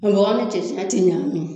Bɔgɔ ni cɛncɛn ya tɛ ɲami.